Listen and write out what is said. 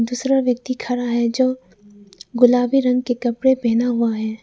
दूसरा व्यक्ति खड़ा है जो गुलाबी रंग के कपड़े पहना हुआ है।